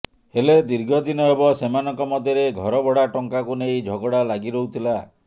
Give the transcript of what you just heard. ହେଲେ ଦୀର୍ଘ ଦିନ ହେବ ସେମାନଙ୍କ ମଧ୍ୟରେ ଘର ଭଡ଼ା ଟଙ୍କାକୁ ନେଇ ଝଗଡ଼ା ଲାଗି ରହୁଥିଲା